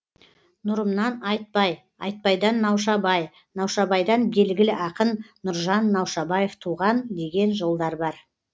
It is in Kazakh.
нұрымнан айтбай айтбайдан наушабай наушабайдан белгілі ақын нұржан наушабаев туған деген жолдар бар